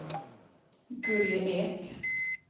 Gulli Ek